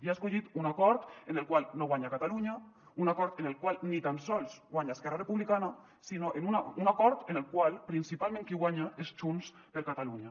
i ha escollit un acord en el qual no guanya catalunya un acord en el qual ni tan sols guanya esquerra republicana sinó un acord en el qual principalment qui guanya és junts per catalunya